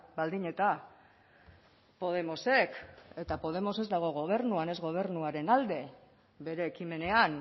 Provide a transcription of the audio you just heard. baldin eta podemosek eta podemos ez dago gobernuan ez gobernuaren alde bere ekimenean